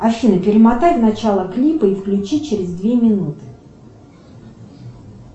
афина перемотай в начало клипа и включи через две минуты